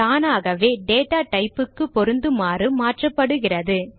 தானாகவே data type க்கு பொருந்துமாறு மாற்றப்படுகிறது